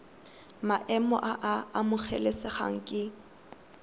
maemo a a amogelesegang ke